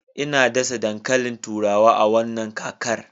Ina dasa dankalin turawa a wannan kakar